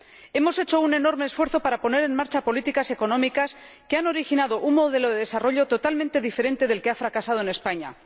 Hemos hecho un enorme esfuerzo para poner en marcha políticas económicas que han originado un modelo de desarrollo totalmente diferente del que ha fracasado en España.